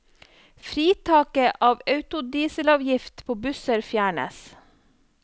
Fritaket på autodieselavgift på busser fjernes.